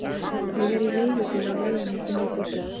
Ég er í leigubíl á leiðinni inn í borgina.